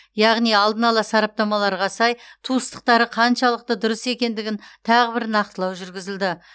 яғни алдын ала сараптамаларға сай туыстықтары қаншалықты дұрыс екендігін тағы бір нақтылау жүргізілді